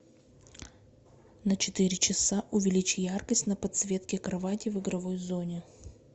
на четыре часа увеличь яркость на подсветке кровати в игровой зоне